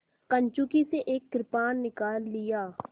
कंचुकी से एक कृपाण निकाल लिया